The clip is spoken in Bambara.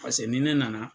Paseke ni ne nana